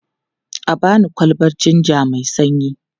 A ba ni kwalbar jinja mai sanyi.